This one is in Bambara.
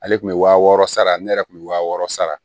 Ale tun bɛ wa wɔɔrɔ sara ne yɛrɛ kun bɛ wa wɔɔrɔ sara